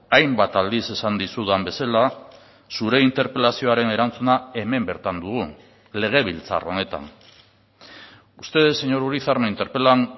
hainbat aldiz esan dizudan bezala zure interpelazioaren erantzuna hemen bertan dugu legebiltzar honetan ustedes señor urizar me interpelan